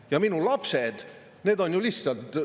Ja minu lapsed, need on lihtsalt …